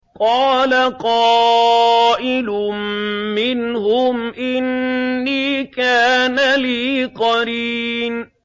قَالَ قَائِلٌ مِّنْهُمْ إِنِّي كَانَ لِي قَرِينٌ